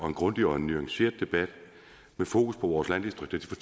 en grundig og nuanceret debat med fokus på vores landdistrikter